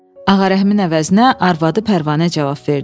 Ağarəhmin əvəzinə arvadı Pərvanə cavab verdi.